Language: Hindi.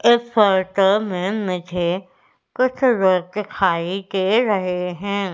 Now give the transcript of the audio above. एक फोटो में मुझे कुछ लोग दिखाई दे रहे हैं।